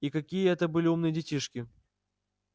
и какие это были умные детишки